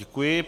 Děkuji.